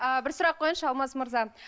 ы бір сұрақ қояйыншы алмас мырза